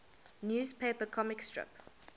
newspaper comic strip